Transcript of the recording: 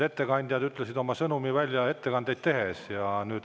Ettekandjad ütlesid oma sõnumi välja ettekandeid tehes.